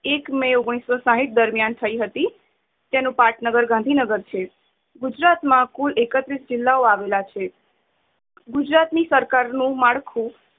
એક મે ઓગણીસો સાથ દરમિયાન થઇ હતી. તેનું પાટનગર ગાંધીનગર છે. ગુજરાત માં કુલ એકત્રીશ જિલ્લા ઓ આવેલા છે ગુજરાત ની સરકાર નું માળખું